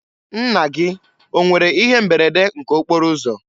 Nna gị o nwere ihe mberede nke okporo ụzọ?